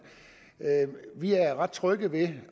vi er ret trygge ved